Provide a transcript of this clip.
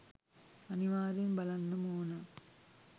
අනිවාර්යෙන් බලන්නම ඕන